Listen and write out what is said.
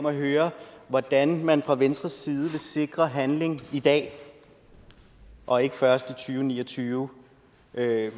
at høre hvordan man fra venstres side vil sikre handling i dag og ikke først i og ni og tyve